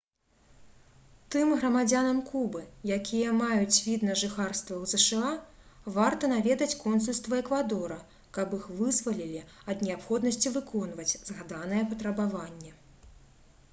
тым грамадзянам кубы якія маюць від на жыхарства ў зша варта наведаць консульства эквадора каб іх вызвалілі ад неабходнасці выконваць згаданае патрабаванне